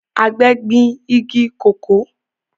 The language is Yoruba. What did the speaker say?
Àgbẹ̀ gbin igi kòkó